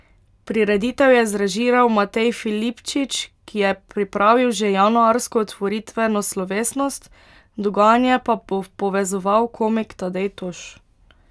Prireditev je zrežiral Matej Filipčič, ki je pripravil že januarsko otvoritveno slovesnost, dogajanje pa bo povezoval komik Tadej Toš.